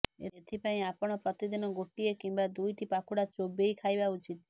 ଏଥିପାଇଁ ଆପଣ ପ୍ରତିଦିନ ଗୋଟିଏ କିମ୍ବା ଦୁଇଟି ପାଖୁଡା ଚୋବେଇ ଖାଇବା ଉଚିତ